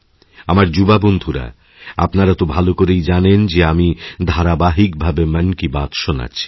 আমার যুবা বন্ধুরা আপনারা তো ভালো করেই জানেন যে আমিধারাবাহিকভাবে মন কী বাত শোনাচ্ছি